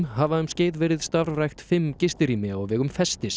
hafa um skeið verið starfrækt fimm gistirými á vegum